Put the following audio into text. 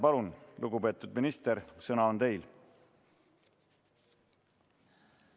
Palun, lugupeetud minister, sõna on teil!